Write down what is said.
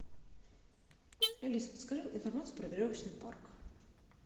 алиса подскажи информацию про веревочный парк